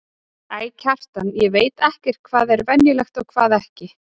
Æ, Kjartan, ég veit ekkert hvað er venjulegt og hvað ekki.